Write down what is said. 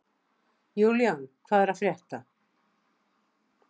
Julian, hvað er að frétta?